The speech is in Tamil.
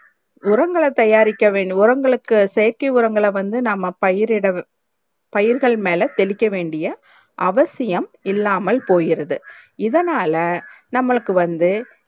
உரங்கள தயாரிக்க வேண்டும் உரங்களுக்கு செயற்க்கை உரங்கள வந்து நம்ம பயிர்யிட பயிர்கள் மேல தெளிக்க வேண்டியே அவசியம் இல்லாம்மல் போயிறது இதனாலே நம்மலுக்கு வந்து